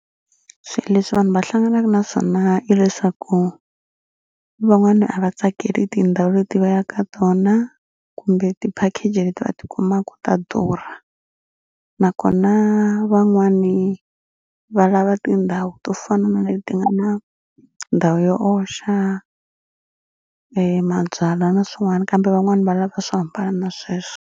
Swi leswi vanhu va hlanganaka na swona i leswaku van'wani a va tsakeli tindhawu leti va ya ka tona kumbe ti-package leti va tikumaku ta durha nakona van'wani va lava tindhawu to fana na leti nga na ndhawu yo oxa mabyala na swin'wani kambe van'wani va lava swo hambana na sweswo.